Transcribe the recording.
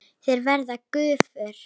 Þeir verða gufur.